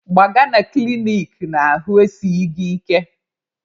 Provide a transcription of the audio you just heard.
Gbaga na klinik n'ahụ esighi gị ike!